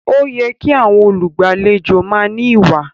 Ó yẹ kí àwọn olùgbàlejò máa ní ìwà